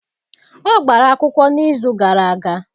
Ọ gbara akwụkwọ n'izu gara aga.